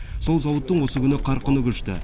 сол зауыттың осы күні қарқыны күшті